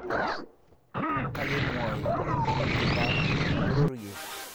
Kakemwoy walutietab bororiet